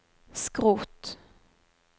skrot